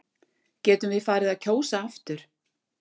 Getum við farið að kjósa aftur?